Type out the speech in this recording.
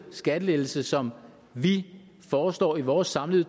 skattelettelser som vi foreslår i vores samlede